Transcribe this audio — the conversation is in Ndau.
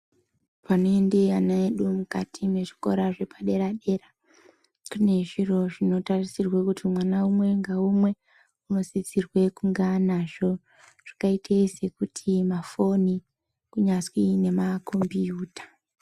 Panoenda vana vedu mukati mezvikora zvepadera dera pane zviro zvinotarisirwa kuti mwana umwe naumwe anosisirwa kunge anazvo zvakaita sekuti mafoni kunyasi nemakombiyita.